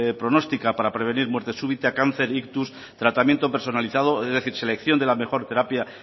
pronóstica para prevenir muerte súbita cáncer ictus tratamiento personalizado es decir selección de la mejor terapia